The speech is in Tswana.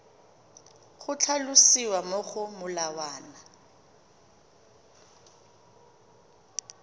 go tlhalosiwa mo go molawana